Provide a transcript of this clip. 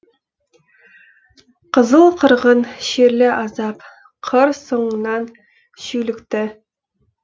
қызыл қырғын шерлі азап қыр соңынан шүйлікті